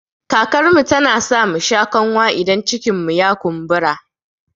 Karkarmu tana sa musha kanwa in cikinmu ya kumbura